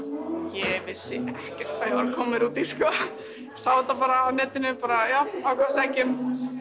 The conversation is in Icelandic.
ég vissi ekkert hvað ég var að koma mér út í sko sá þetta bara á netinu bara já að sækja um